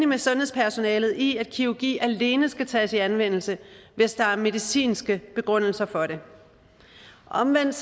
med sundhedspersonalet i at kirurgi alene skal tages i anvendelse hvis der er medicinske begrundelser for det omvendt